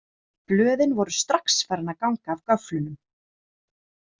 Blöðin voru strax farin að ganga af göflunum.